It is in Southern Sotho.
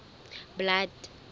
blood